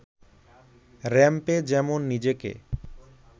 র‌্যাম্পে যেমন নিজেকে